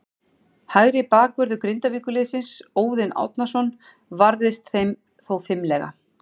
Hægri bakvörður Grindavíkurliðsins, Óðinn Árnason, varðist þeim þó fimlega.